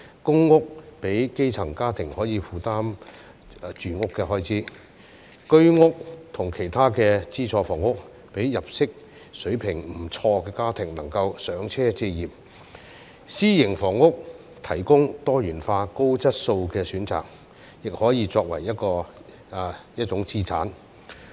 公屋讓基層家庭可以負擔住屋的開支；居屋及其他資助房屋讓入息水平不錯的家庭能夠"上車"置業；私營房屋提供多元化、高質素的選擇，亦可以作為一種資產。